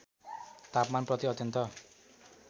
तापमान प्रति अत्यन्त